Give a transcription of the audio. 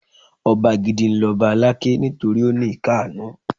Ọba gidi ni lọba Aláké nítorí ó ní ìkannú.